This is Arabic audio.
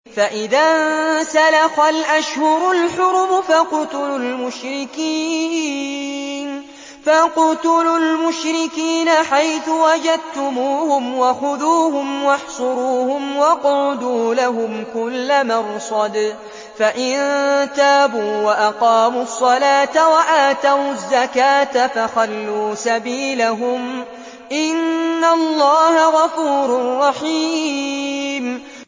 فَإِذَا انسَلَخَ الْأَشْهُرُ الْحُرُمُ فَاقْتُلُوا الْمُشْرِكِينَ حَيْثُ وَجَدتُّمُوهُمْ وَخُذُوهُمْ وَاحْصُرُوهُمْ وَاقْعُدُوا لَهُمْ كُلَّ مَرْصَدٍ ۚ فَإِن تَابُوا وَأَقَامُوا الصَّلَاةَ وَآتَوُا الزَّكَاةَ فَخَلُّوا سَبِيلَهُمْ ۚ إِنَّ اللَّهَ غَفُورٌ رَّحِيمٌ